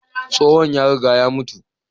Tsohon ya riga ya mutu.